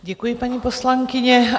Děkuji, paní poslankyně.